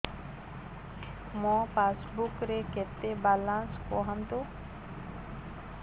ମୋ ପାସବୁକ୍ ରେ କେତେ ବାଲାନ୍ସ କୁହନ୍ତୁ